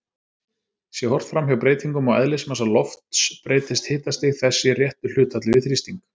Sé horft framhjá breytingum á eðlismassa lofts breytist hitastig þess í réttu hlutfalli við þrýsting.